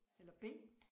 Eller B